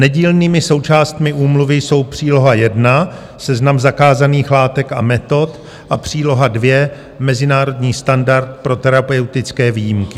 Nedílnými součástmi úmluvy jsou příloha I - Seznam zakázaných látek a metod a příloha II - Mezinárodní standard pro terapeutické výjimky.